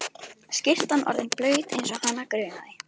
Skyrtan orðin blaut eins og hana grunaði.